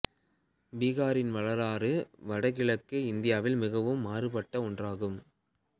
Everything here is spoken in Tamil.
பீகாரின் வரலாறு வடக்கு கிழக்கு இந்தியாவில் மிகவும் மாறுபட்ட ஒன்றாகும்